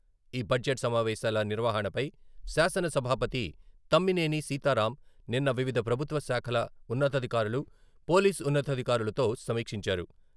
ఈ బడ్జెట్ సమావేశాల నిర్వహణపై శాసన సభాపతి తమ్మినేని సీతారాం నిన్న వివిధ ప్రభుత్వ శాఖల ఉన్నతాధికారులు, పోలీస్ ఉన్నతాధికారులతో సమీక్షించారు.